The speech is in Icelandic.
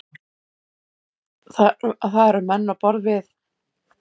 Það eru menn á borð við